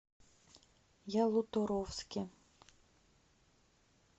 ялуторовске